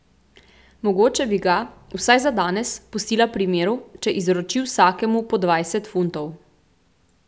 Mogoče bi ga, vsaj za danes, pustila pri miru, če izroči vsakemu po dvajset funtov.